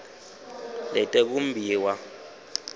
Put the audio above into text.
letekumbiwa